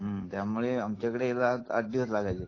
त्यामुळे आमच्या कडे यायला आठ दिवस लागायचे